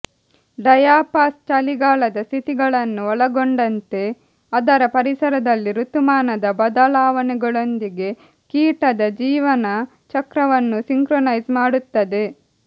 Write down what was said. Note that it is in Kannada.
ಡಯಾಪಾಸ್ ಚಳಿಗಾಲದ ಸ್ಥಿತಿಗತಿಗಳನ್ನು ಒಳಗೊಂಡಂತೆ ಅದರ ಪರಿಸರದಲ್ಲಿ ಋತುಮಾನದ ಬದಲಾವಣೆಗಳೊಂದಿಗೆ ಕೀಟದ ಜೀವನ ಚಕ್ರವನ್ನು ಸಿಂಕ್ರೊನೈಸ್ ಮಾಡುತ್ತದೆ